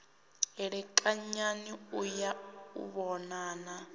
elekanyani u ya u vhonana